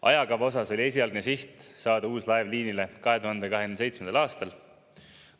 Ajakava osas oli esialgne siht saada uus laev liinile 2027. aastal.